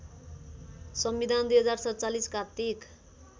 संविधान २०४७ कार्तिक